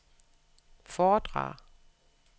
foredrag